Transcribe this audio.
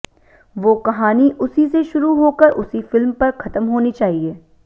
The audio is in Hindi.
वो कहानी उसी से शुरू होकर उसी फिल्म पर खत्म होनी चाहिए